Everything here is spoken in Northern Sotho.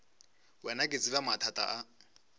wena ke tseba mathata a